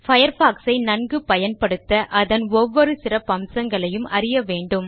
Firefoxசை நன்கு பயன்படுத்த அதன் ஒவ்வொரு சிறப்பம்சங்களையும் அறிய வேண்டும்